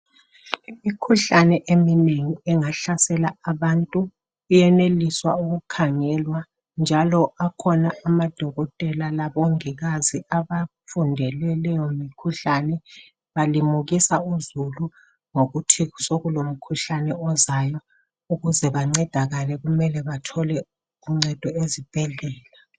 Imikhuhlane eminengi engahlasela abantu iyeneliswa ukukhangelwa njalo akhona amadokotela labongikazi abafundele leyo mikhuhlane balimukisa uzulu ngokuthi sokulomkhuhlane ozayo ukuze bancedakale kumele bathole uncedo ezibhedlela.